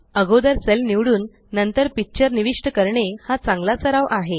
अगोदर सेल निवडून नंतर पिक्चर निविष्ट करणे हा चांगला सराव आहे